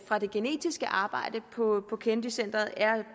for det genetiske arbejde på kennedy centret er